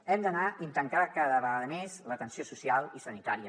hem d’anar intercalant cada vegada més l’atenció social i la sanitària